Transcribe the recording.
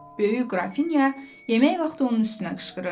Böyük Qrafinya yemək vaxtı onun üstünə qışqırırdı.